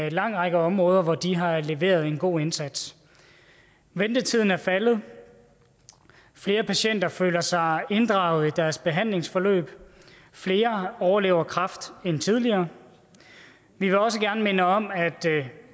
en lang række områder hvor de har leveret en god indsats ventetiden er faldet flere patienter føler sig inddraget i deres behandlingsforløb flere overlever kræft end tidligere vi vil også gerne minde om at